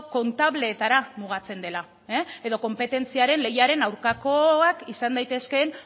kontableetara mugatzen dela edo konpetentziaren lehiaren aurkakoak izan daitezkeen